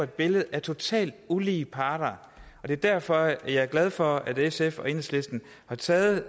billede af totalt ulige partner det er derfor jeg er glad for at sf og enhedslisten har taget